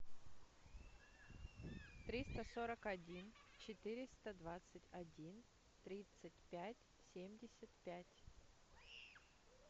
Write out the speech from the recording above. триста сорок один четыреста двадцать один тридцать пять семьдесят пять